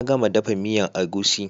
Na gama dafa miyan egusi